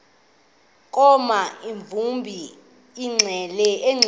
koma emdumbi engqeleni